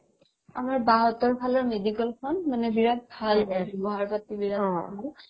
আমাৰ বা হঁতৰ ফালে medical খন মানে বিৰাট ভাল ব্যৱহাৰ পাতি বিৰাট ভাল